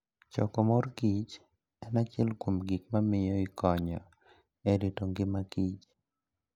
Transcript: Choko mor kich en achiel kuom gik mamiyo ikonyo e rito ngima kich